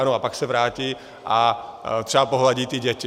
Ano a pak se vrátí a třeba pohladí ty děti.